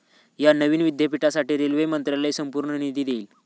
या नवीन विद्यापीठासाठी रेल्वे मंत्रालय संपूर्ण निधी देईल.